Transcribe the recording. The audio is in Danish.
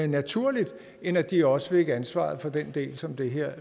naturligt end at de også fik ansvaret for den del som det her